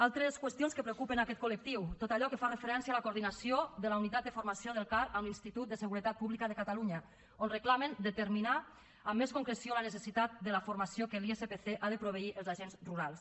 altres qüestions que preocupen aquest col·lectiu tot allò que fa referència a la coordinació de la unitat de formació del car amb l’institut de seguretat pública de catalunya on reclamen determinar amb més concreció la necessitat de la formació amb què l’ispc ha de proveir els agents rurals